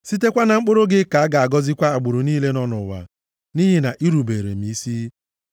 Sitekwa na mkpụrụ gị ka a ga-agọzikwa agbụrụ niile nọ nʼụwa, nʼihi na i rubeere m isi.”